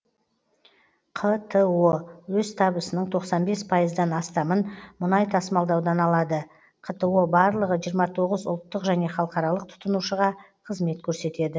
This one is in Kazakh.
қто өз табысының тоқсан бес пайыздан астамын мұнай тасымалдаудан алады қто барлығы жиырма тоғыз ұлттық және халықаралық тұтынушыға қызмет көрсетеді